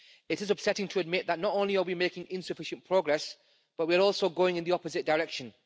It is upsetting to admit that not only are we making insufficient progress, but we are also going in the opposite direction.